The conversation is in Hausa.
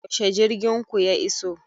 Yaushe jirgin ku ya iso?